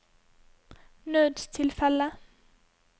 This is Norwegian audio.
nødstilfelle